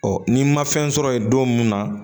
ni n ma fɛn sɔrɔ yen don mun na